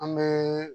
An bɛ